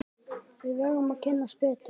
Við verðum að kynnast betur.